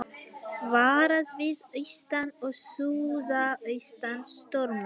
Varað við austan og suðaustan stormi